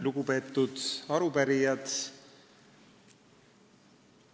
Lugupeetud arupärijad!